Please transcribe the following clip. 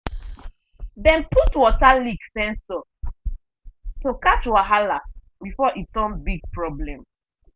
dem put water leak sensor to catch wahala before e turn big problem.